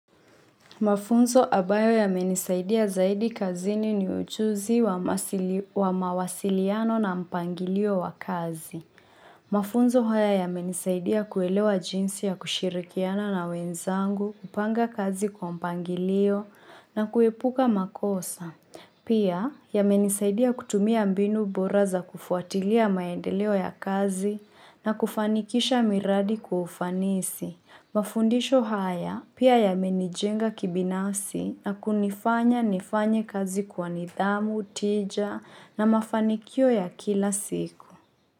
Mafunzo ambayo yamenisaidia zaidi kazini ni uchuzi wa mawasiliano na mpangilio wa kazi. Mafunzo haya ya menisaidia kuelewa jinsi ya kushirikiana na wenzangu, kupanga kazi kwa mpangilio na kuepuka makosa. Pia yamenisaidia kutumia mbinu bora za kufuatilia maendeleo ya kazi na kufanikisha miradi kufanisi. Mafundisho haya pia yamenijenga kibinasi na kunifanya nifanya kazi kwa nidhamu, tija na mafanikio ya kila siku.